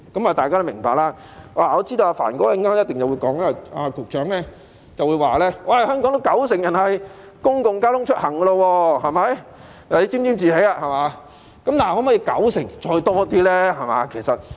我知道局長稍後一定會說香港有九成人利用公共交通出行，看他沾沾自喜了，但可否比九成更多呢？